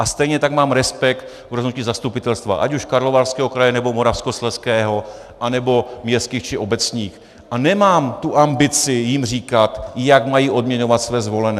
A stejně tak mám respekt k rozhodnutí zastupitelstva, ať už Karlovarského kraje, nebo Moravskoslezského, anebo městských či obecních, a nemám tu ambici jim říkat, jak mají odměňovat své zvolené.